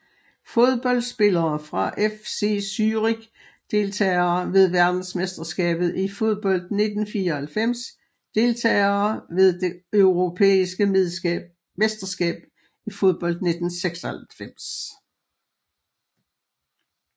Fodboldspillere fra FC Zürich Deltagere ved verdensmesterskabet i fodbold 1994 Deltagere ved det europæiske mesterskab i fodbold 1996